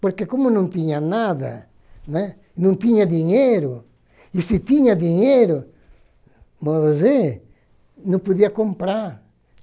Porque como não tinha nada, né, não tinha dinheiro, e se tinha dinheiro, você não podia comprar.